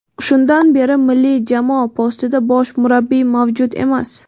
Shundan beri milliy jamoa postida bosh murabbiy mavjud emas.